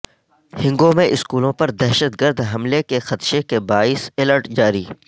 ہنگو میں اسکولوں پر دہشتگرد حملے کے خدشے کے باعث الرٹ جاری